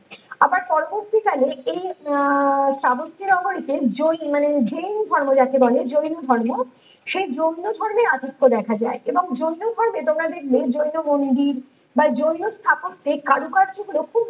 আবার পরবর্তী কালে এই আহ চাবত্তি নগরে জয়ী মানে জৈন ধৰ্ম যাকে বলে জৈন ধর্ম সেই জৈন ধর্মের রাজত্ব দেখা যায় এবং জৈন ধর্মে তোমরা দেখবে জৈন মন্দির বা জৈন স্থাপত্যে কারুকার্য গুলো খুব